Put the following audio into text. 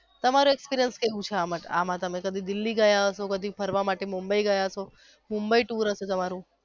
તમારો experience કેવું છે આ માટે તમે કોઈ દિવસ દિલ્હી ગયા હસો ફરવા માટે કદી મુંબઈ ગયા હસો મુંબઈ tour હશે તમારું.